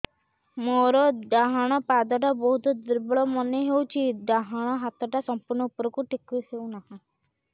ମୋର ଡାହାଣ ପାଖ ବହୁତ ଦୁର୍ବଳ ମନେ ହେଉଛି ଡାହାଣ ହାତଟା ସମ୍ପୂର୍ଣ ଉପରକୁ ଟେକି ହେଉନାହିଁ